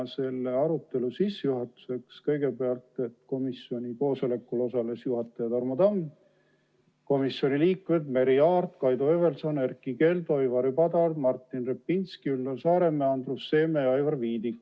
Sissejuhatuseks kõigepealt, et komisjoni koosolekul osalesid juhatajana Tarmo Tamm ning komisjoni liikmed Merry Aart, Kaido Höövelson, Erkki Keldo, Ivari Padar, Martin Repinski, Üllar Saaremäe, Andrus Seeme ja Aivar Viidik.